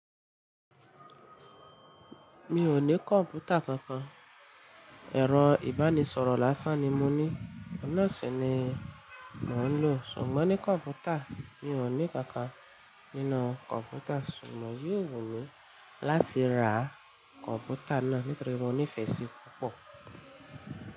Mi ò ní computer kankan. Ẹ̀rọ ìbánisọ̀rọ̀ lásán ni mo ní. Oun naa sì ni mò ń lò. Ṣùgbọ́n ní computer mi ò ní kankan. Nínú computer ṣùgbọ́n yóò wù mí láti ra computer náà nítorí mo nífẹ̀ẹ́ síi púpọ̀.